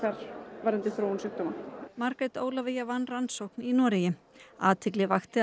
varðandi þróun sjúkdóma Margrét Ólafía vann rannsókn í Noregi athygli vakti að